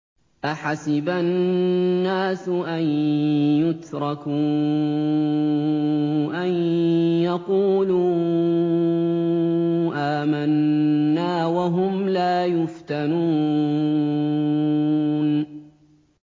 أَحَسِبَ النَّاسُ أَن يُتْرَكُوا أَن يَقُولُوا آمَنَّا وَهُمْ لَا يُفْتَنُونَ